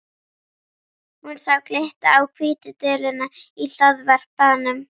Hún sá glitta á hvítu duluna í hlaðvarpanum.